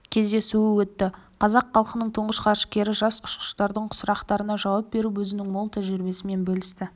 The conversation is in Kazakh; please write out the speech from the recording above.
кездесуі өтті қазақ халқының тұңғыш ғарышкері жас ұшқыштардың сұрақтарына жауап беріп өзінің мол тәжірибесімен бөлісті